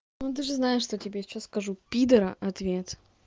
ну ты же знаешь что тебе сейчас скажу пидора ответ